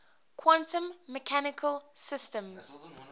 quantum mechanical systems